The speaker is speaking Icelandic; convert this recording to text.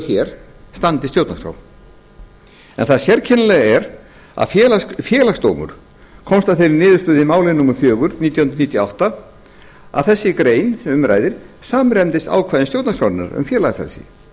hér standist stjórnarskrá það sérkennilega er að félagsdómur komst að þeirri niðurstöðu í máli númer fjögur nítján hundruð níutíu og átta að þessi grein sem um ræðir samræmdist ákvæðum stjórnarskrárinnar um félagafrelsi og það